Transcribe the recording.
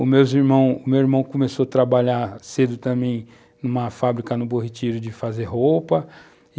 Os meus irmão, o meu irmão começou a trabalhar cedo também numa fábrica no Borritirio de fazer roupa.